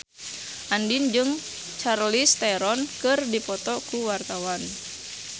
Andien jeung Charlize Theron keur dipoto ku wartawan